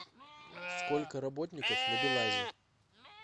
сколько работников на белазе